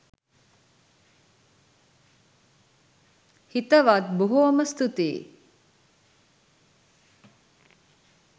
හිතවත් බොහෝම ස්තුතියි